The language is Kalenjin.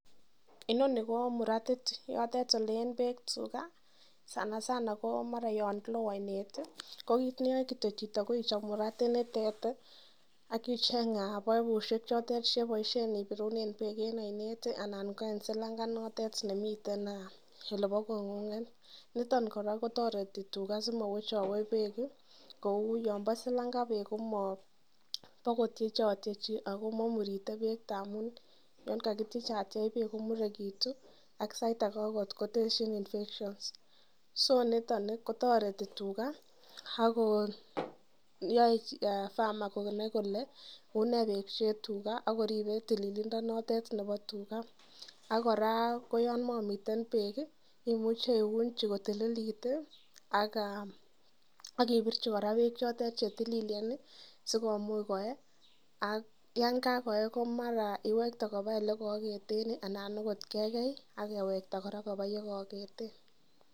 Inoni ko muratit yotet oleen peek tuge sana sanako mara yo lo oinet ko kiit neyae kitio chito ko ichop muratit nitet akicheny paipushek chote cheboishe en ipirune pek en oinet anan ko eng silanga notet nemiten olepo kot ng'ung' niton kora kotoreti tuga asimawechawech peek kou yon po silanga peek pokotiachatiechoi akomaimurite peek amun yonkakitiechatchech peek komurekitu ak sait ake koteshin infection so niton ni kotoreti tuga akoyoe famer konai kole unekeripei tuga Ako une tililindo notet nebo tuga akora ko yon mamiten peek imuchei iunchi kotililit akipirchi kora peek chote chetililen sikomuch koe ak yon lakoe mara iwekte kopa ole kaaketen anan akot kekey akewekta kora kopa yekaaketen